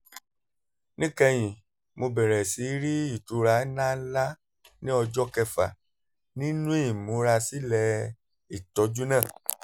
níkẹyìn mo bẹ̀rẹ̀ sí rí ìtura ńláǹlà ní ọjọ́ kẹfà nínú ìmúrasílẹ̀-ìtọ́jú náà